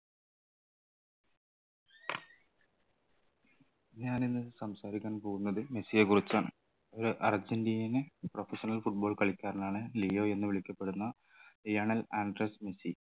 ഞാനിന്ന് സംസാരിക്കാൻ പോകുന്നത് മെസ്സിയെ കുറിച്ചാണ് ഒരു അർജന്റീനിയൻ professional football കളിക്കാരനാണ് ലിയോ എന്ന് വിളിക്കപ്പെടുന്ന ലിയണൽ ആൻഡ്രെസ്സ് മെസ്സി